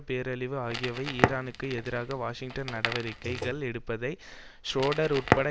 பேரழிவு ஆகியவை ஈரானுக்கு எதிராக வாஷிங்டன் நடவடிக்கைகள் எடுப்பதை ஷ்ரோடர் உட்பட